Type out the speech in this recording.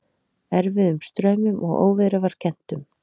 Erfiðum straumum og óveðri var kennt um.